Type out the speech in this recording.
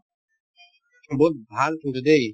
বহুত ভাল কিন্তু দেই